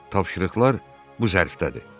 Tapşırıqlar bu zərfdədir.